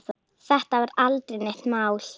Þetta var aldrei neitt mál.